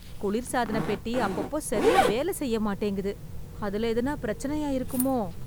குளிர்சாதனப் பெட்டி அப்பப்போ சரியா வேல செய்யமாட்டேங்குது... அதுல எதுனா பிரச்சனையா இருக்குமோ?